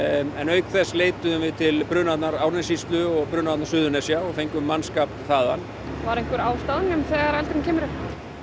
auk þess leitum við til brunavarna Árnessýslu og brunavarna Suðurnesja og fengum mannskap þaðan var einhver á staðnum þegar eldurinn kemur upp